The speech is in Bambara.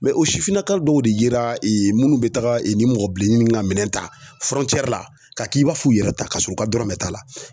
o sifinnaka dɔw de yera minnu bɛ taga ni mɔgɔ bilenni nin ka minɛn ta la ka k'i b'a f'u yɛrɛ ta, ka sɔrɔ u ka dɔrɔmɛ t'a la.